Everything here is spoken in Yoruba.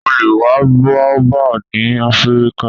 O le wa Baobab ni Afirika